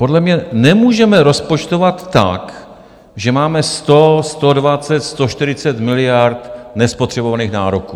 Podle mě nemůžeme rozpočtovat tak, že máme 100, 120, 140 miliard nespotřebovaných nároků.